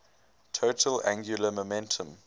total angular momentum